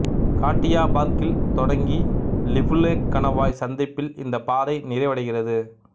காட்டியாபார்க்கில் தொடங்கி லிபுலேக் கணவாய் சந்திப்பில் இந்த பாதை நிறைவடைகிறது